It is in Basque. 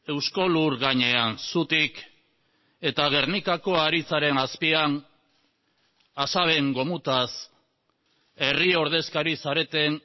eusko lur gainean zutik eta gernikako haritzaren azpian asaben gomutaz herri ordezkari zareten